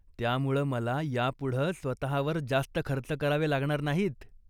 त्यामुळं मला यापुढं स्वतःवर जास्त खर्च करावे लागणार नाहीत.